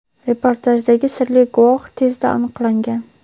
reportajdagi sirli guvoh tezda aniqlangan.